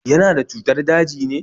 Yana da cutar daji ne?